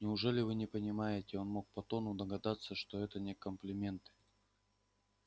неужели вы не понимаете он мог по тону догадаться что это не комплименты